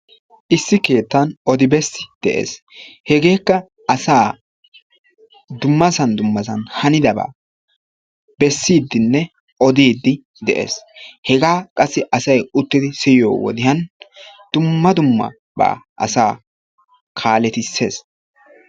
issi keettan odi-bessi de'ees. hegekka asa dummassa dummssan hanidaaba bessidinne oddidi de'ees. hega qassi asaa siyiyyo wodiyaan dumma dummaba asa kaaletisees.